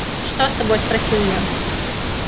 что с тобой спросил я